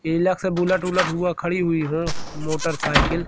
तिलक से बुलेट उलट हुआ खड़ी हुई हो मोटरसाइकिल --